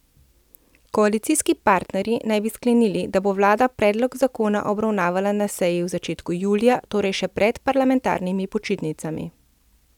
Koalicijski partnerji naj bi sklenili, da bo vlada predlog zakona obravnavala na seji v začetku julija, torej še pred parlamentarnimi počitnicami.